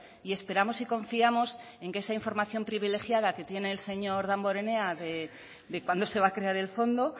y esperamos y confiamos en que esa información privilegiada que tiene el señor damborenea de cuándo se va a crear el fondo